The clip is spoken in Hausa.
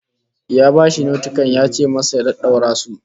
Ya bashi notikan yace masa ya daddaura su